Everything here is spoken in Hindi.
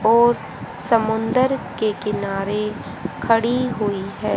और समुंदर के किनारे खड़ी हुई हैं।